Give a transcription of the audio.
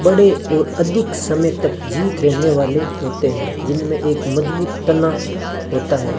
बड़े और अधिक समय तक जीवित रहने वाले होते हैं जिनमें एक मजबूत तना होता है।